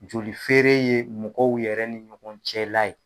Joli feere ye mɔgɔw yɛrɛ ni ɲɔgɔn cɛ la ye.